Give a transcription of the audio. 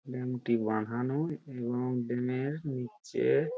dam -টি বাঁধানো এবং ড্যাম -র নিচে-এ--